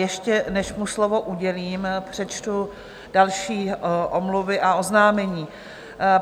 Ještě než mu slovo udělím, přečtu další omluvy a oznámení.